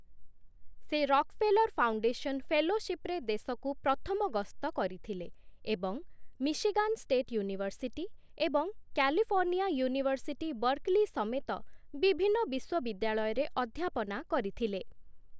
ସେ Rockefeller foundation ଫେଲୋଶିପ୍‌ରେ ଦେଶକୁ ପ୍ରଥମ ଗସ୍ତ କରିଥିଲେ ଏବଂ ମିଶିଗାନ୍ ଷ୍ଟେଟ୍ ୟୁନିଭରସିଟି ଏବଂ କାଲିଫର୍ଣ୍ଣିଆ ୟୁନିଭରସିଟି ବର୍କଲି ସମେତ ବିଭିନ୍ନ ବିଶ୍ୱବିଦ୍ୟାଳୟରେ ଅଧ୍ୟାପନା କରିଥିଲେ